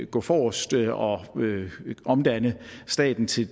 gå forrest og omdanne staten til